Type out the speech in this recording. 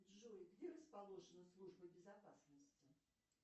джой где расположена служба безопасности